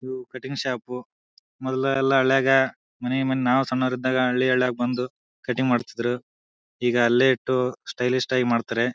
ಇದು cutting shop ಎಲ್ಲಾ ಎಲ್ಲಾ ಹಲ್ಲ್ಯಾಗ್ ಮನಿ ಮನ್ ನಾವು ಸಣ್ಣವರಿದ್ದಾಗ ಹಳ್ಳಿಗಳಗ್ ಬಂದು ಕಟಿಂಗ್ ಮಾಡತ್ತಿದ್ರು. ಈಗ ಅಲ್ಲೇ ಇಟ್ಟು ಸ್ಟೈಲಿಸ್ಟ್ ಆಗಿ ಮಾಡತ್ತರೆ.